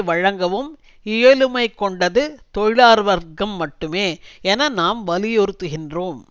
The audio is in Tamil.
வழங்கவும் இயலுமை கொண்டது தொழிலாளர் வர்க்கம் மட்டுமே என நாம் வலியுறுத்துகின்றோம்